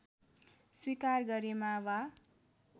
स्वीकार गरेमा वा